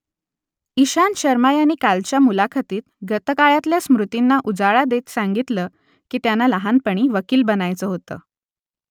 इशांत शर्मा यांनी कालच्या मुलाखतीत गतकाळातल्या स्मृतींना उजाळा देत सांगितलं की त्यांना लहानपणी वकील बनायचं होतं